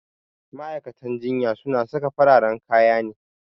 Ma'aikatan jinya su na saka fararen kaya ne